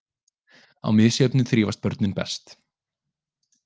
Á misjöfnu þrífast börnin best.